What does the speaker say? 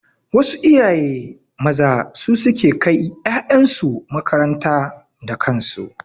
Wasu iyaye maza su suke kai ƴaƴansu makaranta da kansu.